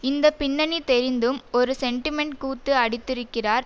இந்த பின்னணி தெரிந்தும் ஒரு சென்டிமெண்ட் கூத்து அடித்திருக்கிறார்